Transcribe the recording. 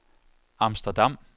Amsterdam